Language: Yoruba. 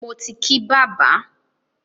Mo ti kí bàbá.